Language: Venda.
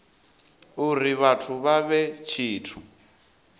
uri vhathu vha vhe tshithu